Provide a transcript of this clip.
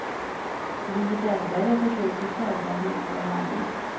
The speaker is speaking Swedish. Vi belgare försöker sälja lite av varje.